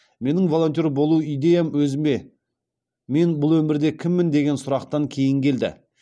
менің волонтер болу идеям өзіме мен бұл өмірде кіммін деген сұрақтан кейін келді